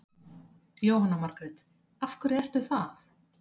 Jóhanna Margrét: Af hverju ertu það?